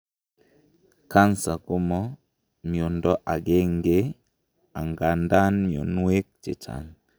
cancer komo miondo agangei angandan mionwek chechang